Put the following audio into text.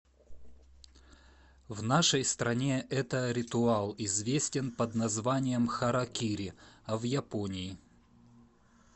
в нашей стране это ритуал известен под названием харакири а в японии